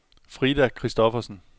Frida Christoffersen